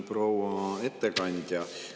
Proua ettekandja!